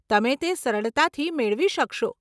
તમે તે સરળતાથી મેળવી શકશો.